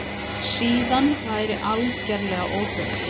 Síðan væri algerlega óþörf